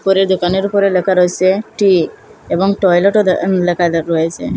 উপরে দোকানের উপরে লেখা রয়েসে টি এবং টয়লেট -ও দ্যা উম লেখা রয়েসে।